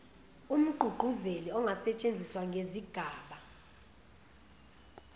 umgqugquzeli angasetshenziswa ngezigaba